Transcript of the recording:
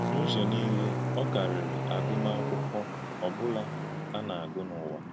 N’ụ́zọ̀ niile, ọ kàrị́rì àgụ́màkụ́kwọ́ ọ̀ bụla a na-agụ̀ n’ụ̀wà.